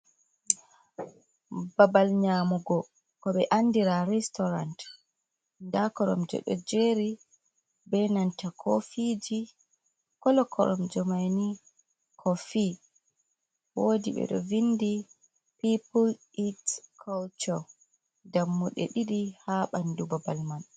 Babal nyamugo ko ɓe andira restouran. Nda koromje ɗo jeri be nanta kofiji, kolo koromje man kofi. Woɗi ɓe ɗo vindi pipul it culture. Dammuɗe ɗiɗi haa ɓandu babal man.